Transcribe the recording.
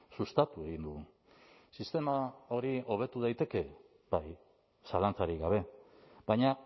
sustatu egin dugu sistema hori hobetu daiteke bai zalantzarik gabe baina